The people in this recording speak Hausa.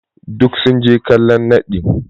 Duk sun je kallon naɗi.